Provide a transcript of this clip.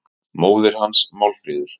Móðir hans, Málfríður